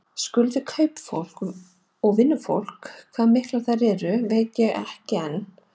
Skuldir við kaupafólk og vinnufólk, hvað miklar þær eru veit ég ekki enn.